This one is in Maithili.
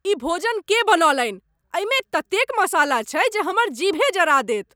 ई भोजन के बनौलनि? एहिमे ततेक मसाला छैक जे हमर जीभे जरा देत ।